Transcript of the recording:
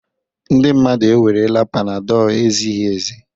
Ndị mmadụ ewerela panadol ezighi ezi